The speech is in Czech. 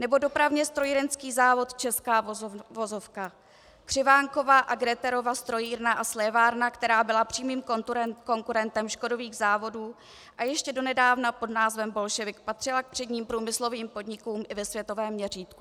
Nebo dopravně strojírenský závod Česká vozovka, Křivánkova a Gretherova strojírna a slévárna, která byla přímým konkurentem Škodových závodů a ještě donedávna pod názvem Biľšovyk patřila k předním průmyslovým podnikům i ve světovém měřítku.